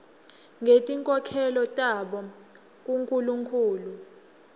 ngetinkholelo tabo kunkulunkhulu